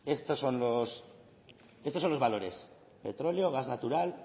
estos son los valores petróleo gas natural